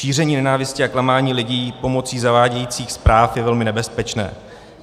Šíření nenávisti a klamání lidí pomocí zavádějících zpráv je velmi nebezpečné.